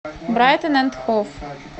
брайтон энд хов